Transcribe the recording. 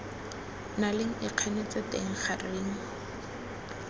na leng ikganetso teng gareng